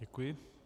Děkuji.